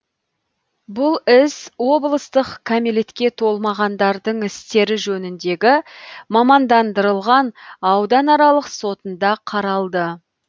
бұл іс облыстық кәмелетке толмағандардың істері жөніндегі мамандандырылған ауданаралық сотында қаралды